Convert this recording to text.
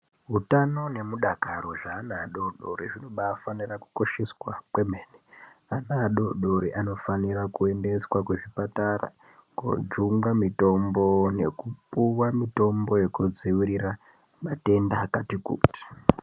Utano nemudakaro zveana adoodoori zvinobaafanire kukosheswa kwemene. Ana adoodori anofanira kuendeswa kuzvipatara koojungwe mitombo nekupiwa mitombo yekudzivirira matenda akati kuti.